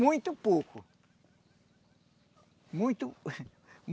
Muito pouco. Muito